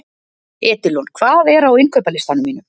Edilon, hvað er á innkaupalistanum mínum?